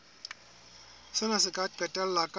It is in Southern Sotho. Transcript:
sena se ka qetella ka